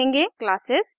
classes